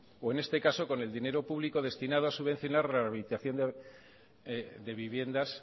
o en este caso con el dinero público destinado a subvencionar rehabilitación de viviendas